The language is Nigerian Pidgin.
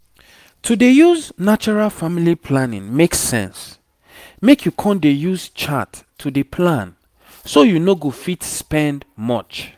to dey use natural family planning make sense make you con dey use chart to dey plan so you no go fit spend much